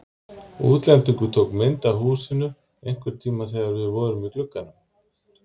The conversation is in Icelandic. Útlendingur tók mynd af húsinu einhvern tímann þegar við vorum í glugganum.